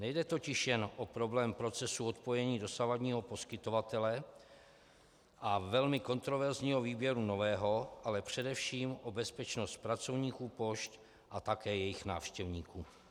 Nejde totiž jen o problém procesu odpojení dosavadního poskytovatele a velmi kontroverzního výběru nového, ale především o bezpečnost pracovníků pošt a také jejich návštěvníků.